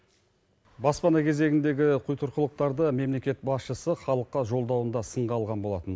баспана кезегіндегі құйтұрқылықтарды мемлекет басшысы халыққа жолдауында сынға алған болатын